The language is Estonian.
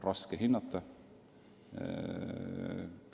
Raske hinnata.